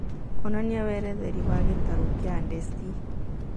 onanĩa weretheri wa gĩtarũ gĩa ndeci